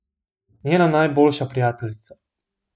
Njena najboljša prijateljica.